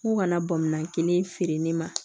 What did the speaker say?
N ko kana bamanan kelen feere ne ma